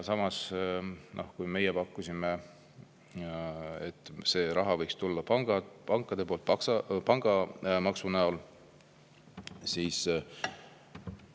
Samas, kui meie pakkusime, et see raha võiks tulla pankadelt pangamaksu näol, siis …